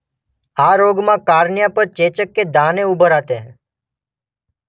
આ રોગમાં કાર્નિયા પર ચેચક કે દાને ઉભર આતે હૈં